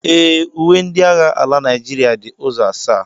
Ee, uwe ndị agha ala Naịjirịa dị ụzọ asaa